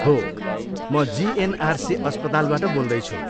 हो, म जिएनआरसी अस्पतालबाट बोल्दैछु।